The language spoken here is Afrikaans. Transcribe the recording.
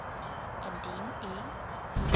indien u